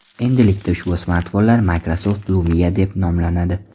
Endilikda ushbu smartfonlar Microsoft Lumia deb nomlanadi.